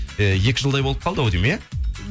ііі екі жылдай болып қалды ау деймін иә